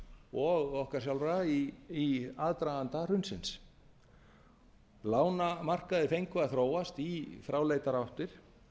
og okkar sjálfra í aðdraganda hrunsins lánamarkaðir fengu að þróast í fráleitar áttir